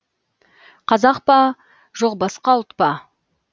қазақ па жоқ басқа ұлт па